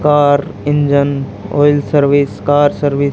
car engine oil service car service --